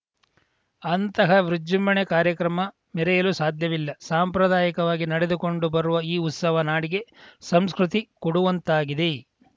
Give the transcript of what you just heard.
ಅಂತಹ ವಿಜೃಂಭಣೆ ಕಾರ್ಯಕ್ರಮ ಮೆರೆಯಲು ಸಾಧ್ಯವಿಲ್ಲ ಸಂಪ್ರದಾಯಕವಾಗಿ ನಡೆದುಕೊಂಡು ಬರುವ ಈ ಉತ್ಸವ ನಾಡಿಗೆ ಸಂಸ್ಕೃತಿ ಕೊಡುವಂತಾಗಿದೆ